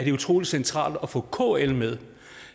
det er utrolig centralt at få kl med